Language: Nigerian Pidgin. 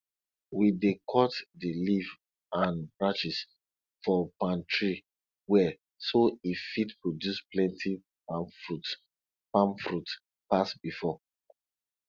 we dey cut di leaf an branches for palm tree well so e fit produce plenti palm fruits palm fruits pass before